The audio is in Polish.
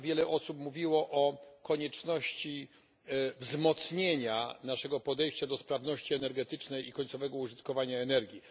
Wiele osób mówiło o konieczności wzmocnienia naszego podejścia do sprawności energetycznej i końcowego użytkowania energii.